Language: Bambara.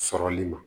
Sɔrɔli ma